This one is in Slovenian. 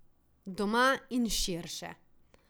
Doma in širše.